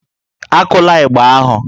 Akula ịgbà ahụ!